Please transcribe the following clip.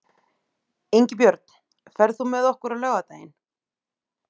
Ingibjörn, ferð þú með okkur á laugardaginn?